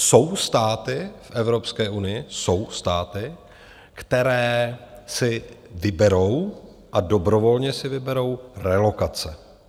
Jsou státy v Evropské unii, jsou státy, které si vyberou a dobrovolně si vyberou relokace.